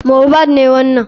Mohbad ne wanan.